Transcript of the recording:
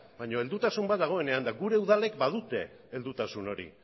baina heldutasun bat dagoenean eta gure udalek badute heldutasun hori